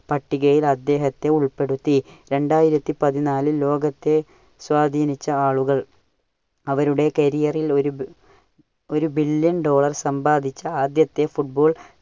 പട്ടികയിൽ അദ്ദേഹത്തെ ഉൾപ്പെടുത്തി. രണ്ടായിരത്തി പതിനാലിൽ ലോകത്തെ സ്വാധീനിച്ച ആളുകൾ അവരുടെ career ൽ ഒരു ബി~ഒരു billion dollar സമ്പാദിച്ച ആദ്യത്തെ football